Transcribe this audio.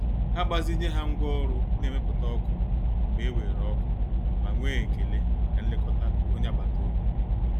Ha gbazinye ha ngwa oru na-emeputa oku mgbe e weere oku ma nwee ekele maka nlekọta onye agbata obi.